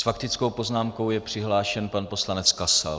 S faktickou poznámkou je přihlášen pan poslanec Kasal.